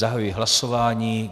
Zahajuji hlasování.